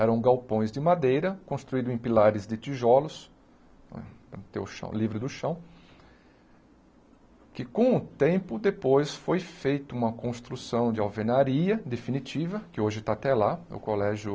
Eram galpões de madeira construídos em pilares de tijolos, tem o chão livre do chão, que com o tempo depois foi feita uma construção de alvenaria definitiva, que hoje está até lá, é o Colégio